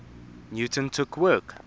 newton took work